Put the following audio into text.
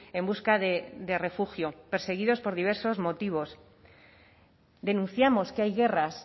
en busca de refugio perseguidos por diversos motivos denunciamos que hay guerras